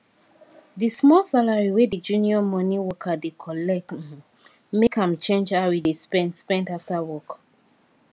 the small salary wey the junior money worker dey collect um make am change how e dey spend spend after work